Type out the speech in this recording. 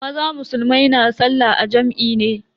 Maza musulmai na sallah a jam'i ne.